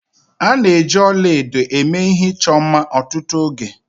A na-eji ọla edo eme ihe ịchọ mma ọtụtụ oge